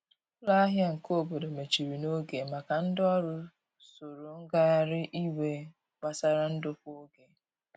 Ụlọ ahia nke obodo mechiri n'oge maka ndi ọrụ soro ngahari iwe gbasara ndokwa oge.